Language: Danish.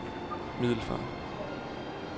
Middelfart